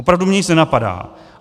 Opravdu mě nic nenapadá.